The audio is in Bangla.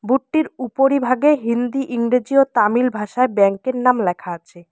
বোর্ড -টির উপরিভাগে হিন্দি ইংরেজি ও তামিল ভাষায় ব্যাংক -এর নাম লেখা আছে।